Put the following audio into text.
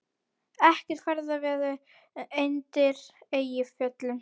Ekkert ferðaveður undir Eyjafjöllum